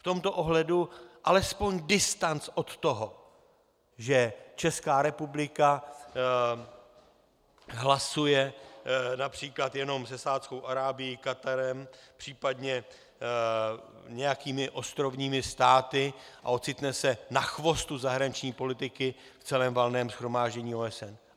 V tomto ohledu alespoň distanc od toho, že Česká republika hlasuje například jenom se Saúdskou Arábií, Katarem, případně nějakými ostrovními státy, a ocitne se na chvostu zahraniční politiky v celém Valném shromáždění OSN.